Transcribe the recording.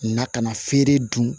Na ka na feere dun